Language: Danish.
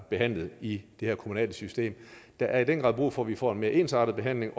behandlet i det her kommunale system der er i den grad brug for at vi får en mere ensartet behandling